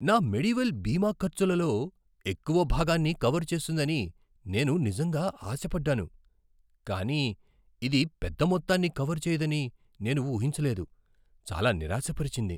నా మెడివెల్ బీమా ఖర్చులలో ఎక్కువ భాగాన్ని కవర్ చేస్తుందని నేను నిజంగా ఆశ పడ్డాను. కానీ ఇది పెద్ద మొత్తాన్ని కవర్ చేయదని నేను ఊహించలేదు. చాలా నిరాశపరిచింది.